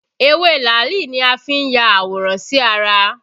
Ewé làálì ni a fi n ya àwòrán sí ara